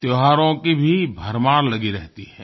त्योहारों की भी भरमार लगी रहती है